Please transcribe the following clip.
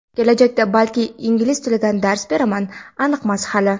kelajakda balki ingliz tilidan dars berarman.aniqmas hali.